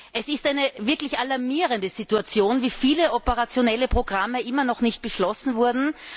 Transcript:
Es ist eine wirklich alarmierende Situation, wie viele operationelle Programme immer noch nicht beschlossen wurden.